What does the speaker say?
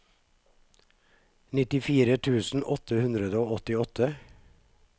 nittifire tusen åtte hundre og åttiåtte